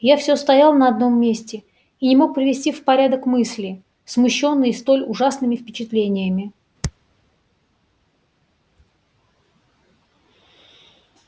я всё стоял на одном месте и не мог привести в порядок мысли смущённые столь ужасными впечатлениями